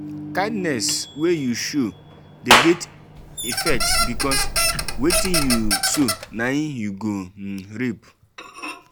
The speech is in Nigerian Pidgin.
um kindness wey you show de get effects because wetin you sow na him you go um reap